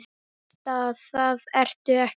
Veist að það ertu ekki.